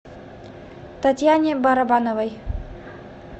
татьяне барабановой